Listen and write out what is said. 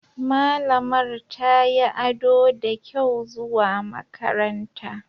Malamar tayi ado da kyau zuwa makaranta.